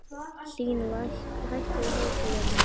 Hlín, hækkaðu í hátalaranum.